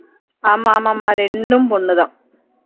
ஆமா ஆமாம்மா ரெண்டும் பொண்ணு தான்